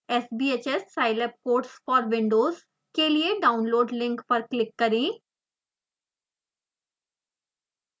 sbhs scilab codes for windows के लिए download link पर क्लिक करें